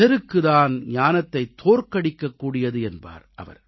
செருக்கு தான் ஞானத்தைத் தோற்கடிக்கக் கூடியது என்பார்